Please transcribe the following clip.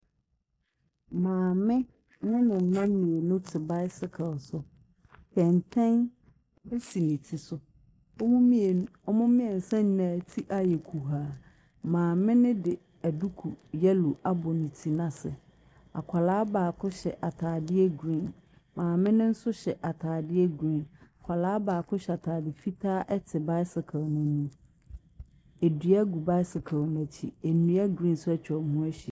Maame ne mma mmienu te bicycle so. Kɛntɛn so ne ti so. Wɔn mmienu wɔn mmiɛnsa nyina ti ayɛ kuhaa. Maame no de duku yɛllow abɔ ne ti n’ase. Akwadaa baako hyɛ ataadeɛ green, maame no nso hyɛ atadeɛ green. akwadaa baako hyɛ ataade fitaa te bicycle n’anim. Dua gu bicycle n’akyi, nnua green nso atwa wɔn ho ahyia.